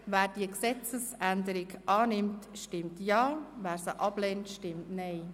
Wer diese Gesetzesänderung annimmt, stimmt Ja, wer sie ablehnt, stimmt Nein.